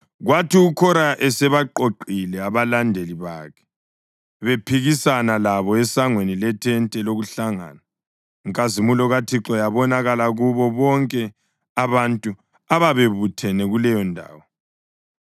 Kwathi uKhora esebaqoqile abalandeli bakhe bephikisana labo esangweni lethente lokuhlangana, inkazimulo kaThixo yabonakala kubo bonke abantu ababebuthene kuleyondawo.